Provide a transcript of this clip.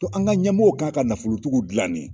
Dɔn an ka ɲɛmɔw kan ka nafolobatigiw gilan de